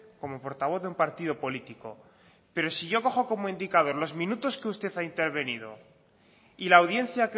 como portavoz de un partido político pero si yo cojo como indicador los minutos que usted ha intervenido y la audiencia